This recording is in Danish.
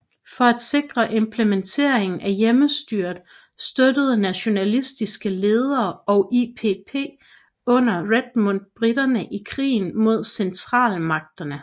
For at sikre implementeringen af hjemmestyret støttede nationalistiske ledere og IPP under Redmond briterne i krigen mod Centralmagterne